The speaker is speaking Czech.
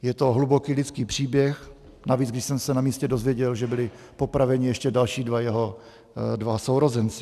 Je to hluboký lidský příběh, navíc když jsem se na místě dozvěděl, že byli popraveni ještě další dva jeho sourozenci.